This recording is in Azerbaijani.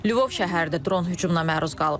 Lvov şəhər də dron hücumuna məruz qalıb.